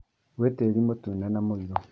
Gwĩ tĩri mũtune na muirũ